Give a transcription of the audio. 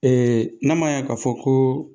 Ee n'a ma ɲɛ k'a fɔ ko